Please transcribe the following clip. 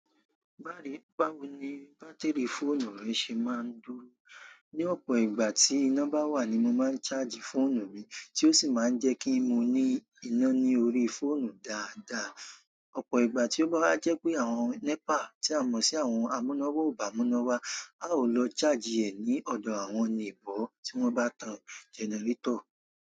Bá re bá wo ni bátìrì fóònù rẹ ṣe máa ń dúró. Ni ọ̀pọ̀ ìgbà tí iná bá wà ni mo máa ń charge fóònù mi, tí ó sì máa ń jẹ́ kí mo ní iná ní orí fóònù dáadáa. Ọ̀pọ̀ ìgbà tí ó bá jẹ́ pé àwọn NEPA, tí a mọ̀ sí àwọn amúnáwa, ò bá mú iná wá, a ó lọ charge ẹ̀ ní ọ̀dọ̀ àwọn oní nebọ̀ tí wọ́n bá tan genarétọ̀.